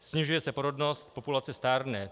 Snižuje se porodnost, populace stárne.